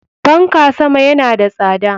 Fanka sama yana da tsada.